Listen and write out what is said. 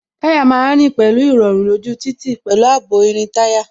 Táyà má ń rìn pẹ̀lú irọrun lójú títì, pẹ̀lú ààbò irin táyà